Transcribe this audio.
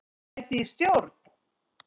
Sæti í stjórn?